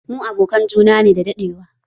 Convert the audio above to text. Mu abokan juna ne da daɗewa